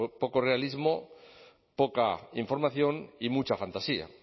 poco realismo poca información y mucha fantasía